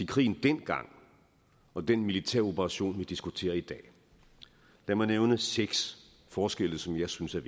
krigen dengang og den militæroperation vi diskuterer i dag lad mig nævne seks forskelle som jeg synes er